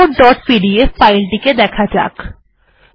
এবার report dot PDF ফাইলটি দেখা যাক